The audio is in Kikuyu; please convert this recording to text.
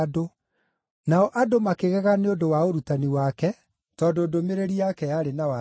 Nao andũ makĩgega nĩ ũndũ wa ũrutani wake, tondũ ndũmĩrĩri yake yarĩ ya wathani.